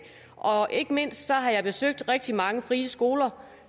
og ikke mindst har jeg besøgt rigtig mange frie skoler